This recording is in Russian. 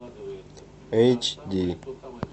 эйч ди